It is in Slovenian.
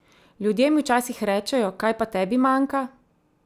Ljudje mi včasih rečejo, kaj pa tebi manjka?